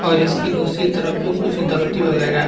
और इसकी दूसरी तरफ भी कुछ दफ़्ती वगैरह है।